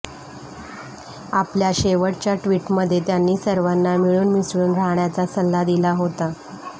आपल्या शेवटच्या ट्वीटमध्ये त्यांनी सर्वांना मिळून मिसळून राहण्याचा सल्ला दिला होता